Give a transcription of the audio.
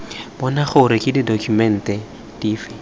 bona gore ke ditokumente dife